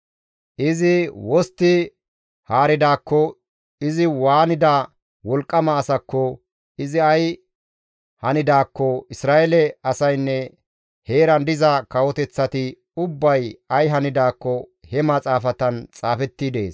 Izi wostti haaridaakko, izi waanida wolqqama asakko, izi ay hanidaakko, Isra7eele asaynne heeran diza kawoteththati ubbay ay hanidaakko he maxaafatan xaafetti dees.